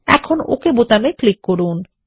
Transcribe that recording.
এখন ওক বাটনে ক্লিক করুন